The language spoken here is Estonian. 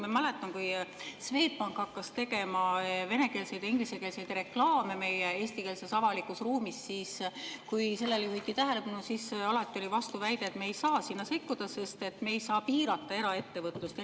Ma mäletan, kui Swedbank hakkas tegema venekeelseid ja ingliskeelseid reklaame meie eestikeelses avalikus ruumis ja kui sellele juhiti tähelepanu, siis alati oli vastuväide, et me ei saa sinna sekkuda, sest me ei saa piirata eraettevõtlust.